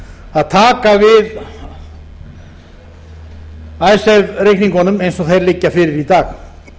að taka við icesave reikningunum eins og þeir liggja fyrir í dag